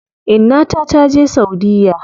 Inna ta taje saudiya.